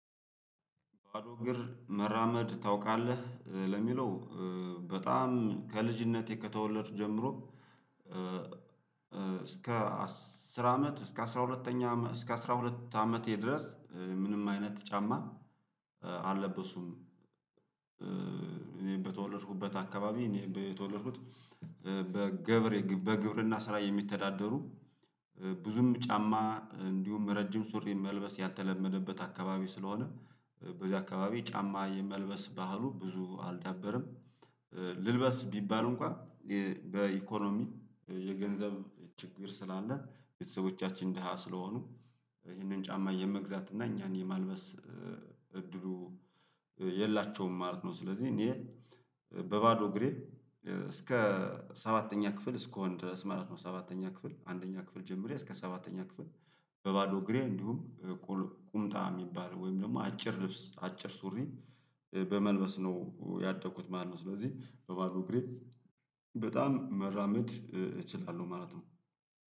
"ባዶ እግር መራመድ ታውቃለህ?" ለሚለው፤ በጣም ከልጅነቴ ከተወለድኩ ጀምሮ፤ እስከ አስር አመት እስከ አስራ ሁለተኛ እስከ አስራ ሁለት አመቴ ድረስ ምንም አይነት ጫማ አለበስኩም። እኔ በተወለድኩበት አካባቢ እኔ በ የተወለድኩት በገብር በግብርና ስራ የሚተዳደሩ ብዙም ጫማ እንዲሁም ረጅም ሱሪን መልበስ ያልተለመደበት አካባቢ ስለሆነ፤ በዚያ አካባቢ ጫማ የመልበስ ባህሉ ብዙ አልዳበረም። ልልበስ ቢባል እንኳን በኢኮኖሚ የገንዘብ ችግር ስላለ፣ ቤተሰቦቻችን ደሃ ስለሆኑ ይህንን ጫማ የመግዛት እና እኛን የማልበስ እድሉ የላቸውም ማለት ነው። ስለዚህ እኔ በባዶ እግሬ እስከ ሰባተኛ ክፍል እስክሆን ድረስ ማለት ነው። ሰባተኛ ክፍል አንደኛ ክፍል ጀምሬ እስከ ሰባተኛ ክፍል በባዶ እግሬ እንዲሁም ቁምጣ የሚባል ወይም ደግሞ አጭር ልብስ አጭር ሱሪን በመልበስ ነው ያደጉት ማለት ነው። ስለዚህ በባዶ እግሬ በጣም መራመድ እችላለሁ ማለት ነው።